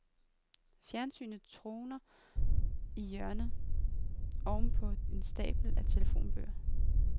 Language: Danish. Fjernsynet troner i hjørnet ovenpå en stabel telefonbøger.